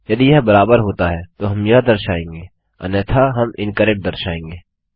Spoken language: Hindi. यदि यह बराबर होता है तो हम यह दर्शाएँगे अन्यथा हम इनकरेक्ट दर्शाएँगे